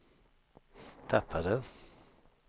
tappade